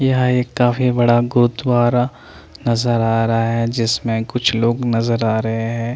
यह एक काफी बड़ा गुरुद्वारा नज़र आ रहा है जिसमें कुछ लोग नज़र आ रहे हैं।